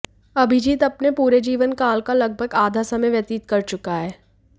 अभिजित अपने पूरे जीवनकाल का लगभग आधा समय व्यतीत कर चुका है